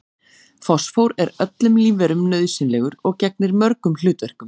Fosfór er öllum lífverum nauðsynlegur og gegnir mörgum hlutverkum.